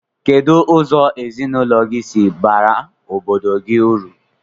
Kedu ụzọ ezinụlọ gi si bara obodo gi uru?